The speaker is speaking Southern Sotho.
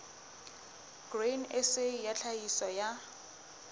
grain sa ya tlhahiso ya